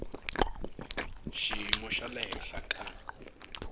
xiyimo xa le henhla ka